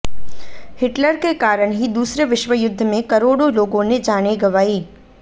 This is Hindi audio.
हिटलर के कारण ही दूसरे विश्व युद्ध में करोड़ों लोगों ने जानें गंवाई